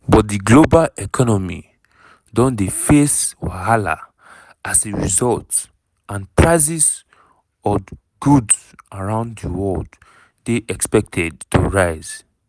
but di global economy don dey face wahala as a result and prices od goods around di world dey expected to rise.